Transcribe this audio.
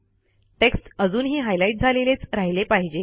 text अजूनही highlight झालेलेच राहिले पाहिजे